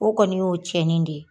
O kɔni y'o tiɲɛnen de ye.